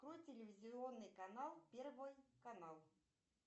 открой телевизионный канал первый канал